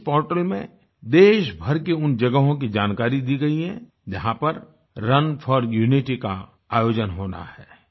इस पोर्टल में देशभर की उन जगहों की जानकारी दी गई है जहाँ पर रुन फोर यूनिटी का आयोजन होना है